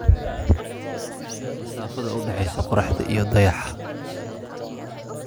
ii sheeg masaafada u dhaxaysa qoraxda iyo dayaxa